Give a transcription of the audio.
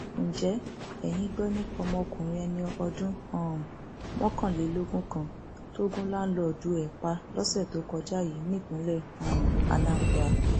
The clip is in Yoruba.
ǹjẹ eyín gbọ nípa ọmọkùnrin ẹni ọdún um mọkànlélógún kan tó gùn láńlọọdù ẹ pa lọsẹ tó kọjá yìí nípínlẹ um anambra